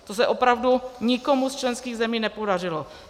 To se opravdu nikomu z členských zemí nepodařilo.